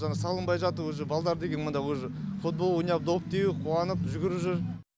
жаңа салынбай жатып уже балдар деген мында уже футбол ойнап доп теуіп қуанып жүгіріп жүр